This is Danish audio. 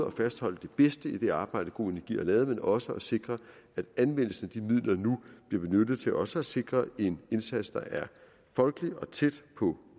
at fastholde det bedste i det arbejde go energi har lavet men også at sikre at anvendelsen af de midler nu bliver benyttet til også at sikre en indsats der er folkelig og tæt på